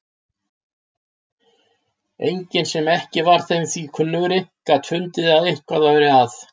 Enginn sem ekki var þeim því kunnugri gat fundið að eitthvað væri að.